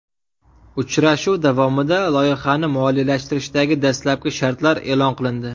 Uchrashuv davomida loyihani moliyalashtirishdagi dastlabki shartlar e’lon qilindi.